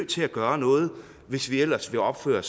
til at gøre noget hvis vi ellers vil opføre